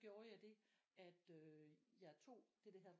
Gjorde jeg det at jeg tog det der hedder